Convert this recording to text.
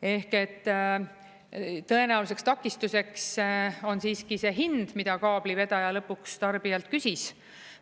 Ehk et tõenäoliseks takistuseks on siiski see hind, mida kaablivedaja lõpuks tarbijalt küsis.